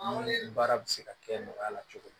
Ni baara bɛ se ka kɛ nɔgɔya la cogo min